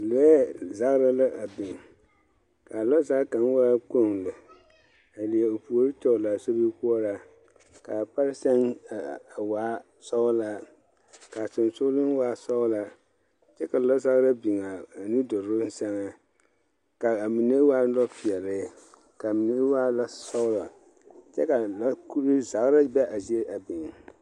Lɔɛ zagra la a biŋ, kaa lɔzag kaŋ waa kpoŋ lɛ, a leɛ o puori tɔglaa sobikoɔraa, kaa pare sɛŋ a a waa sɔgelaa, kaa sonsogleŋ waa sɔglaa, kyɛ ka lɔzagra biŋ a a nudoroŋ sɛŋɛ, kaa mine waa peɛle, kaa mine waa lɔsɔglɔ, kyɛ ka lɔ kuree zagra be a zie a biŋ.